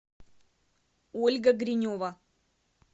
ольга гринева